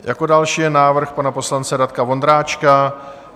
Jako další je návrh pana poslance Radka Vondráčka.